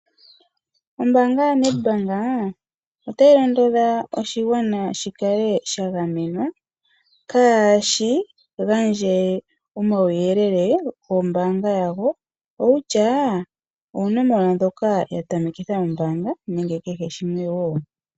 Ombanga ya NEDBANK ota yi londodha oshigwana, shi kale sha gamenwa kaashi gandje omauyelele ngo mbanga yawo, kutya oonomola ndhoka yatamekitha ombanga nenge kehe shimwe woo.